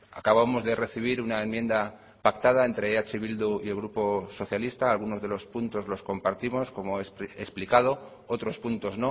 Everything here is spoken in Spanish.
acabamos de recibir una enmienda pactada entre eh bildu y el grupo socialista algunos de los puntos los compartimos como he explicado otros puntos